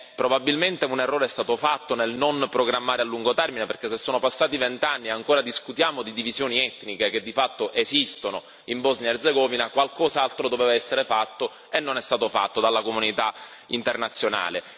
Probabilmente un errore è stato fatto nel non programmare a lungo termine, perché se sono passati vent'anni e ancora discutiamo di divisioni etniche che di fatto esistono in Bosnia Erzegovina qualcos'altro doveva essere fatto e non è stato fatto dalla comunità internazionale.